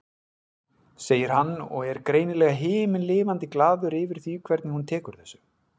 segir hann og er greinilega himinlifandi glaður yfir því hvernig hún tekur þessu.